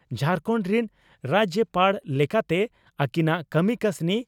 ᱡᱷᱟᱨᱠᱚᱸᱰ ᱨᱤᱱ ᱨᱟᱡᱭᱚᱯᱟᱲ ᱞᱮᱠᱟᱛᱮ ᱟᱹᱠᱤᱱᱟᱜ ᱠᱟᱹᱢᱤ ᱠᱟᱹᱥᱱᱤ